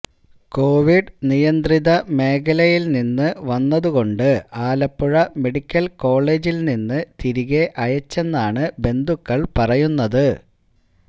Covid നിയന്ത്രിത മേഖലയിൽ നിന്ന് വന്നത് കൊണ്ട് ആലപ്പുഴ മെഡിക്കൽ കോളജിൽ നിന്ന് തിരികെ അയച്ചെന്നാണ് ബന്ധുക്കൾ പറയുന്നത്